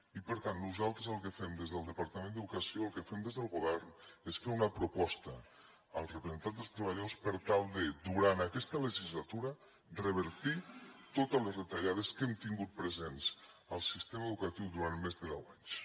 i per tant nosaltres el que fem des del departament d’educació el que fem des del govern és fer una proposta als representants dels treballadors per tal de durant aquesta legislatura revertir totes les retallades que hem tingut presents al sistema educatiu durant més de deu anys